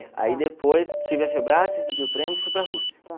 aí depois tive a recebi o prêmio e fui para a Rússia.